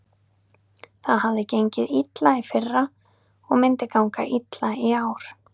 Það hafði gengið illa í fyrra og myndi ganga illa í ár.